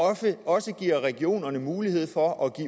også giver regionerne mulighed for at